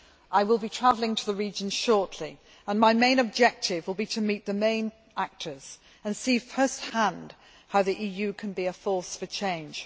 I will be travelling to the region shortly and my main objective will be to meet the main actors and see first hand how the EU can be a force for change.